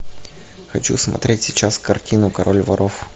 хочу смотреть сейчас картину король воров